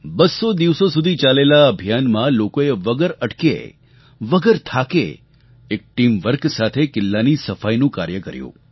બસ્સો દિવસો સુધી ચાલેલા આ અભિયાનમાં લોકોએ વગર અટક્યે વગર થાકે એક ટીમ વર્ક સાથે કિલ્લાની સફાઈનું કાર્ય કર્યું